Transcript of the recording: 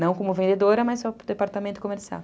Não como vendedora, mas só para o departamento comercial.